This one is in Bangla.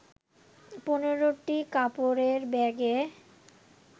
১৫টি কাপড়ের ব্যাগে